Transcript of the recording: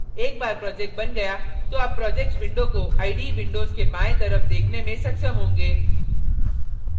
एक बार project बन गया तो आप projects window को ide windows के बायें तरफ देखने में सक्षम होंगे